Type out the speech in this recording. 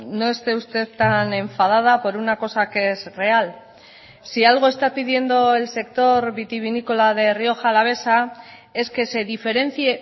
no esté usted tan enfadada por una cosa que es real si algo está pidiendo el sector vitivinícola de rioja alavesa es que se diferencie